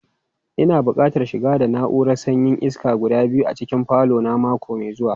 Ina buƙatan shigar da na'urorin sanyaya iska guda biyu a cikin falo na mako mai zuwa.